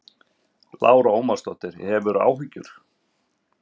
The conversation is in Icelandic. Lára Ómarsdóttir: Hefurðu áhyggjur?